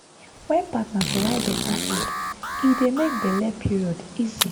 wen partner provide better food e dey make belle period easy.